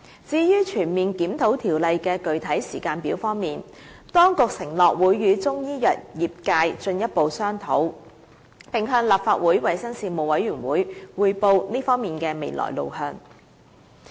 至於全面檢討《條例》的具體時間表，當局承諾會與中醫藥業界進一步商討，並向立法會衞生事務委員會匯報這方面的未來路向。